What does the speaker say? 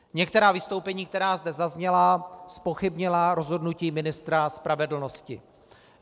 Některá vystoupení, která zde zazněla, zpochybnila rozhodnutí ministra spravedlnosti.